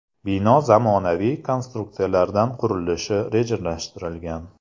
Bino zamonaviy konstruksiyalardan qurilishi rejalashtirilgan.